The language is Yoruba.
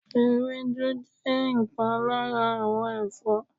ewédú je nkan lara awon Ẹfọ́